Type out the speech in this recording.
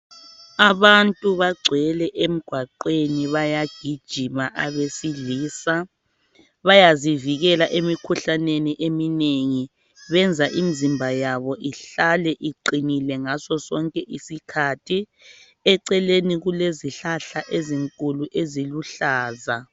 abantu bagcwele emgwaqweni bayagijima abesilisa bayazivikela emikhuhlaneni eminengi benza imizimba yabo ihlale iqinile ngazo zonke izikhathi eceleni kulezihlahla ezinkulu eziluhlaza